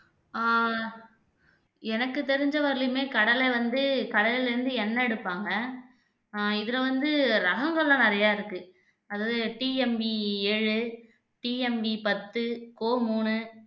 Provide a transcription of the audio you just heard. ஆஹ் எனக்கு தெரிஞ்ச வரையிலுமே கடலை வந்து கடலைல்ல இருந்து எண்ணெய் எடுப்பாங்க ஆஹ் இதுல வந்து ரகங்கள்லாம் நிறையா இருக்கு அதாவது TMV ஏழு TMV பத்து கோ மூணு